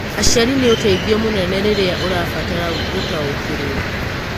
Aciari nĩ ũteithio mũnene rĩrĩa ũrabatara gũtaũkĩrũo.